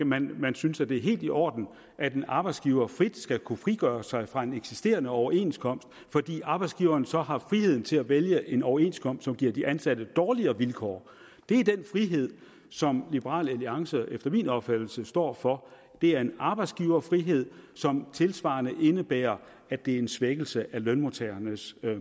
man man synes at det er helt i orden at en arbejdsgiver frit skal kunne frigøre sig fra en eksisterende overenskomst fordi arbejdsgiveren så har friheden til at vælge en overenskomst som giver de ansatte dårligere vilkår det er den frihed som liberal alliance efter min opfattelse står for det er en arbejdsgiverfrihed som tilsvarende indebærer at det er en svækkelse af lønmodtagernes